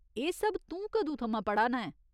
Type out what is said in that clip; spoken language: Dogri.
एह् सब तूं कदूं थमां पढ़ा ना ऐं?